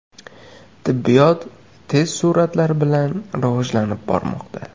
Tibbiyot tez sur’atlar bilan rivojlanib bormoqda.